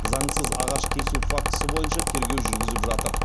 заңсыз ағаш кесу фактісі бойынша тергеу жүргізіп жатыр